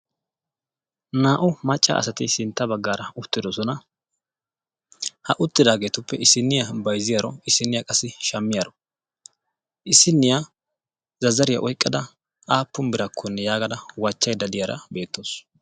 naa"u macca asati sinta bagaara utidosona, ha uttidaagetuppe sinta bagaaara issiniya bayzziyaro, issiniya shamiyaro issiniya zazzariya oyqada aapun birakonne wachaydda beetawusu,